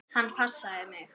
Hann passaði mig.